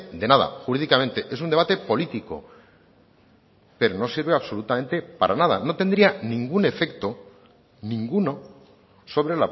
de nada jurídicamente es un debate político pero no sirve absolutamente para nada no tendría ningún efecto ninguno sobre